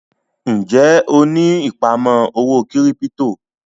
Ń jẹ́ ó ní ìpamọ́ owó kírípítò?